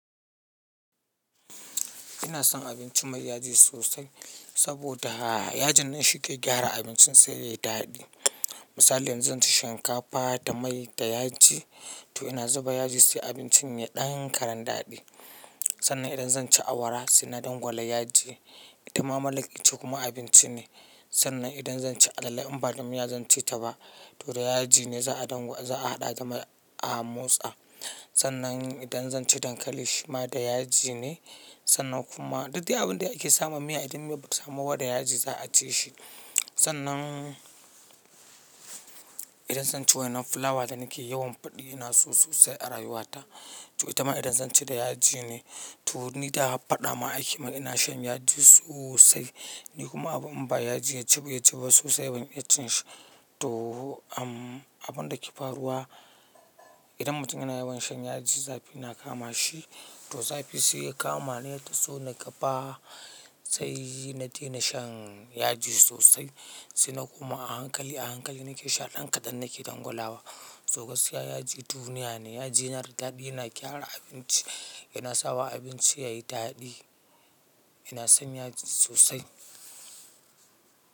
Ina son abinci mai yaji sosai, saboda yajin ne shi ke gyara abincin sai yayi daɗi. Misali yanzu, zanci shinkafa da mai da yaji, to ina zuba yaji sai abincin yayi ɗan karan daɗi. Sannan idan zan ci awara sai na dangwala yaji, ita ma mara la'aki kuma abinci ne. Sannan idan zan ci alale in ba damiya zan ci ta ba, to da yaji ne za'a haɗa game a motsa. Sannan idan zan ci dankali shi ma da yaji ne, sannan kuma, duk dai abunda ake sama miya idan miyan bata samu ba da yaji za'a ci shi. Sannan, idan zan ci wainan fulawa da nake yawan faɗi ina so sosai a rayuwata, to ita ma idan zan ci da yaji ne. To ni da har faɗa ma ake min ina shan yaji sosai, ni kuma abu in ba yaji ya ji ba, ya ci ba sosai, ban iya cin shi. Toh, abunda ke faruwa, idan mutum yana yawan shan yaji zafi na kama shi, to zafi sai ya kama ni ya taso ni gaba, sai na dena shan yaji sosai, sai na koma a hankali a hankali nake sha ɗan kaɗan nake dangwalawa. So gaskiya yaji duniya ne, yaji yana da daɗi yana gyara abinci, yana sawa abinci yayi daɗi. Ina son yaji sosai.